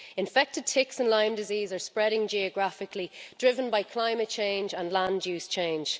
Infected ticks and Lyme disease are spreading geographically, driven by climate change and land use change.